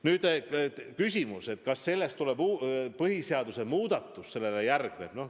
Nüüd küsimus, kas sellele järgneb põhiseaduse muudatus?